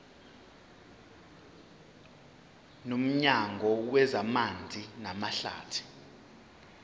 nomnyango wezamanzi namahlathi